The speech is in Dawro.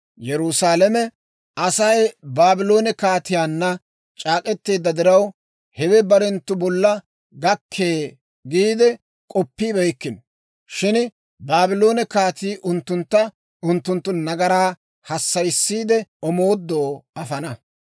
Yerusaalame Asay Baabloone kaatiyaanna c'aak'k'eteedda diraw, hawe barenttu bolla gakkee giide k'oppibeykkino. Shin Baabloone kaatii unttuntta unttunttu nagaraa hassayissiide, omoodo afana.